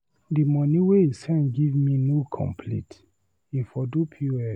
The money wey he send give me no complete, he for do POS.